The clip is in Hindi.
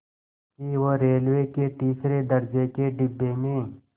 कि वो रेलवे के तीसरे दर्ज़े के डिब्बे में